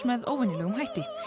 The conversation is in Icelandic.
með óvenjulegum hætti